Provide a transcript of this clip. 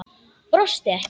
Brosti ekki.